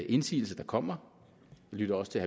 indsigelser der kommer vi lytter også til